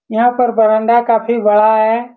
यहाँ पर बरांडा काफी बड़ा है।